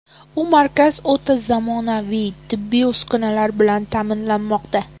U markaz o‘ta zamonaviy tibbiy uskunalar bilan ta’minlanmoqda.